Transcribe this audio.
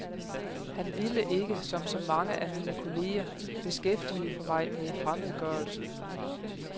Han ville ikke, som så mange af mine kolleger, beskæftige mig med fremmedgørelsen.